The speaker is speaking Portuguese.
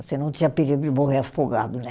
Assim não tinha perigo de morrer afogado, né?